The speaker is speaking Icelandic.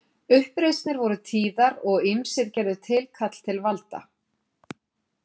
Uppreisnir voru tíðar og ýmsir gerðu tilkall til valda.